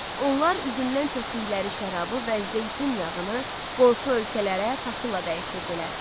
Onlar üzümdən çəkdikləri şərabı və zeytun yağını qonşu ölkələrə taxılla dəyişirdilər.